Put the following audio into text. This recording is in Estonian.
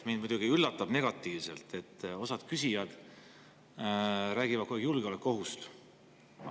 Mind muidugi üllatab negatiivselt, et osa küsijaid räägib kogu aeg julgeolekuohust.